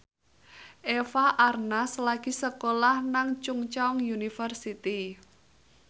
Eva Arnaz lagi sekolah nang Chungceong University